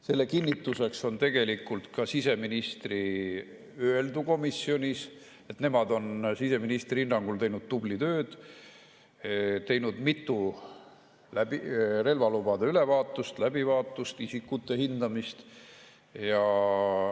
Selle kinnituseks on tegelikult ka siseministri öeldu komisjonis, et nemad on ministri hinnangul teinud tublilt tööd, teinud mitu relvalubade läbivaatust, isikute hindamist.